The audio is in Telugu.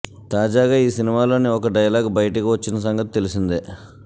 తాజాగా ఈ సినిమాలోని ఒక డైలాగ్ బయటికి వచ్చిన సంగతి తెలిసిందే